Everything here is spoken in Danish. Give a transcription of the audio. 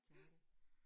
Ja